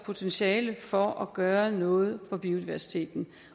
potentiale for at gøre noget for biodiversiteten